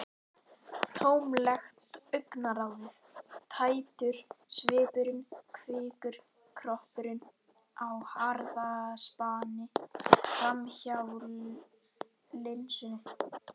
Tómlegt augnaráðið, tættur svipurinn- kvikur kroppurinn á harðaspani framhjá linsunni.